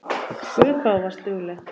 Guð hvað þú varst dugleg.